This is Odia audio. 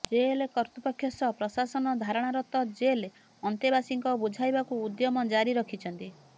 ଜେଲ୍ କର୍ତ୍ତୃପକ୍ଷ ସହ ପ୍ରଶାସନ ଧାରଣାରତ ଜେଲ୍ ଅନ୍ତେବାସୀଙ୍କ ବୁଝାଇବାକୁ ଉଦ୍ୟମ ଜାରି ରଖିଛନ୍ତ